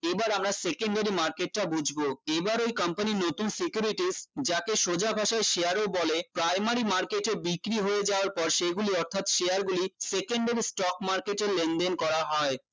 এবার আমরা secondary market টা বুঝবো এবার ওই company এর নতুন securities যাকে সোজা ভাষায় share ও বলে primary market এ বিক্রি হয়ে যাওয়ার পর সেগুলি অর্থাৎ share গুলি secondary stock market এ লেনদেন করা হয়